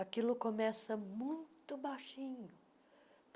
Aquilo começa muito baixinho.